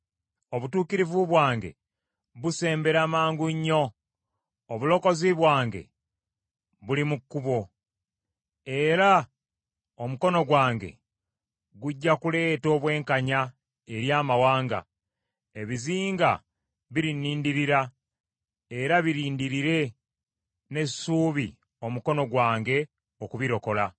Obutuukirivu bwange busembera mangu nnyo, obulokozi bwange buli mu kkubo. Era omukono gwange gujja kuleeta obwenkanya eri amawanga. Ebizinga birinnindirira era birindirire n’essuubi omukono gwange okubirokola.